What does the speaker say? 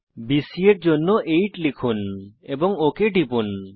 BC এর জন্য 8 লিখুন এবং ওক টিপুন